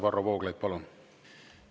Varro Vooglaid, palun!